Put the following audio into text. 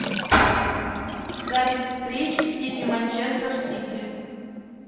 запись встречи сити манчестер сити